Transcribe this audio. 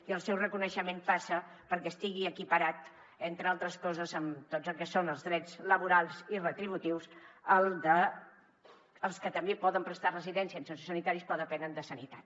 i el seu reconeixement passa perquè estigui equiparat entre altres coses en tot el que són els drets laborals i retributius dels que també poden prestar residència en sociosanitaris però depenen de sanitat